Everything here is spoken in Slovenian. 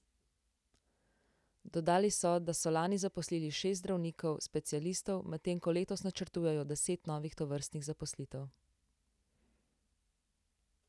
Dodali so, da so lani zaposlili šest zdravnikov specialistov, medtem ko letos načrtujejo deset novih tovrstnih zaposlitev.